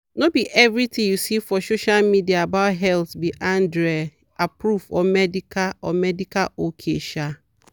no be everything you see for social media about health be andrea-approved or medical or medical ok. um